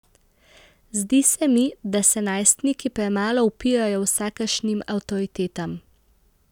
Zdi se mi, da se najstniki premalo upirajo vsakršnim avtoritetam.